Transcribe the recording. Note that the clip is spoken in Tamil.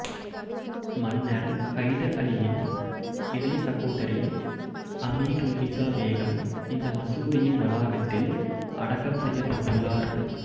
மன்னர் ஹைதர் அலியின் இளைய சகோதரி அமீருன்னிசா பேகம் இந்த மசூதியின் வளாகத்தில் அடக்கம் செய்யப்பட்டுள்ளார்